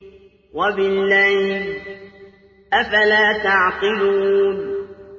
وَبِاللَّيْلِ ۗ أَفَلَا تَعْقِلُونَ